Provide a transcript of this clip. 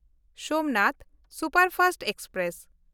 Somnath superfast express